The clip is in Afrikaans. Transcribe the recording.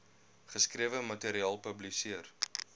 geskrewe materiaal publiseer